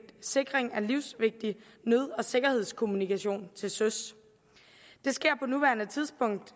sikring af livsvigtig nød og sikkerhedskommunikation til søs det sker på nuværende tidspunkt